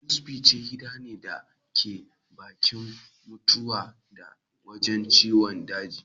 Ospice gida ne da ke baki'n mutawa ta wajen ciwon daji.